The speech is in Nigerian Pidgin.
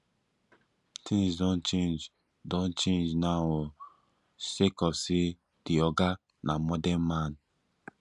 tins don change don change now o sake of say di oga na modern man